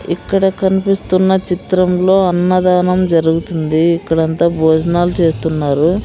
ఇక్కడ కనిపిస్తున్న చిత్రంలో అన్నదానం జరుగుతుంది ఇక్కడ అంతా భోజనాలు చేస్తున్నారు.